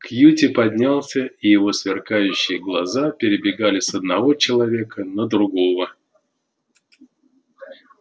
кьюти поднялся и его сверкающие глаза перебегали с одного человека на другого